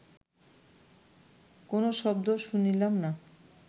কোনো শব্দ শুনিলাম না